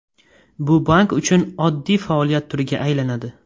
Bu bank uchun oddiy faoliyat turiga aylanadi.